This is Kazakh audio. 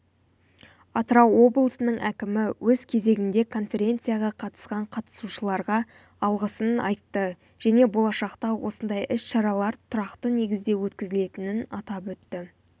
атырау облысының әкімі өз кезегінде конференцияға қатысқан қатысушыларға алғысын айтты және болашақта осындай іс-шаралар тұрақты негізде өткізілетінін атап өтті